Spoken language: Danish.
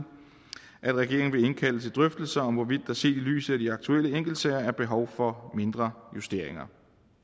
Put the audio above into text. at regeringen vil indkalde til drøftelser om hvorvidt der set i lyset af de aktuelle enkeltsager er behov for mindre justeringer